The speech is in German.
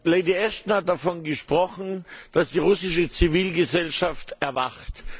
Lady Ashton hat davon gesprochen, dass die russische Zivilgesellschaft erwacht.